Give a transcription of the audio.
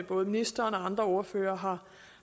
både ministeren og andre ordførere